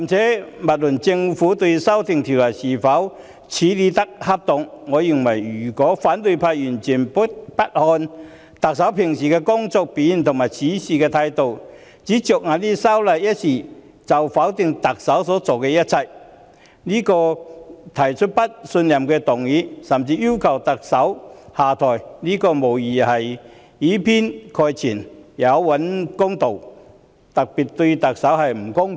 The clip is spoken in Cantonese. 姑勿論政府在修例一事上的處理是否恰當，我認為反對派議員如果完全不看特首日常的工作表現和處事態度，僅僅因為修例一事便否定特首所做的一切，並因此提出不信任議案，甚至要求特首下台，此舉無疑以偏概全，有欠公道，對特首極不公平。